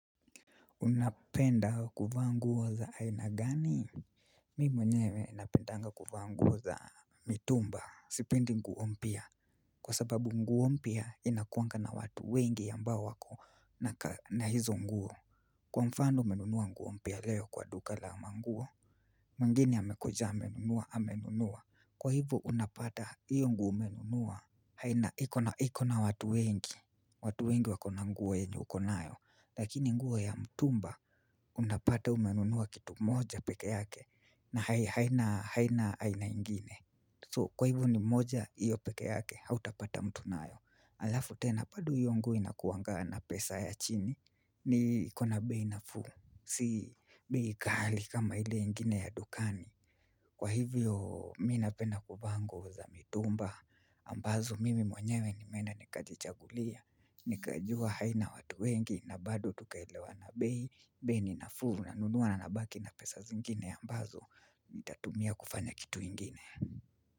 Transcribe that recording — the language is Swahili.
Unapenda kuvaa nguo za aina gani? Mi mwenye napendanga kuvaa nguo za mitumba. Sipendi nguo mpya. Kwa sababu nguo mpya inakuanga na watu wengi ambao wakona hizo nguo. Kwa mfano umenunua nguo mpya leo kwa duka la manguo. Mwingine amekuja amenunua, amenunua. Kwa hivyo unapata hiyo nguo umenunua iko na watu wengi. Watu wengi wakona nguo yenye ukonayo. Lakini nguo ya mtumba unapata umenunua kitu moja peke yake na haina, haina ingine kwa hivyo ni moja hiyo peke yake hautapata mtu nayo. Alafu tena bado hio nguo inakuangaa na pesa ya chini ikona bei nafuu, si bei ghali kama ile ingine ya dukani. Kwa hivyo mimi napenda kuvaa ngou za mitumba ambazo mimi mwenyewe nimeenda nikajichagulia. Nikajua haina watu wengi na bado tukaelewana bei, bei ni nafuu, nanunua na nabaki na pesa zingine ambazo nitatumia kufanya kitu ingine.